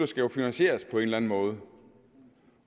skal finansieres på en eller anden måde